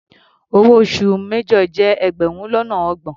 Owó oṣù major jẹ́ ẹgbẹrun lọ́nà ọgbọ̀n.